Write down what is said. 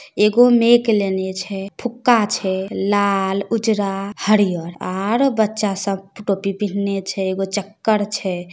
एगो मैक लेने छै फूका छैलाल उजरा हरियर आर बच्चा सब टोपी पहिंले छै एगो चक्कर छै ।